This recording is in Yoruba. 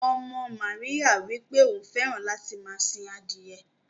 Ọmọ Maríyà wípé òun fẹràn láti máa sìn adiye.